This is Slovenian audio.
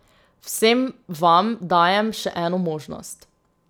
Vsem vam dajem še eno možnost.